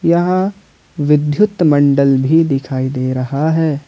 यहाँ विद्युत मण्डल भी दिखाई दे रहा है।